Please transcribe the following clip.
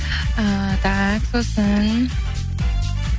ііі так сосын